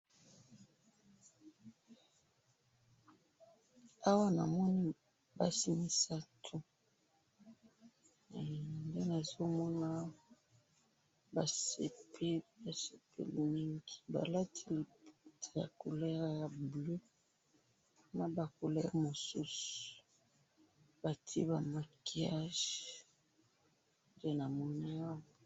awa namoni basi misatu. nde nazo mona awa, basepeli, basepeli mingi, balati liputa ya couleur ya bleu na ba couleur mosusu, batie ba maquillages, nde namoni awa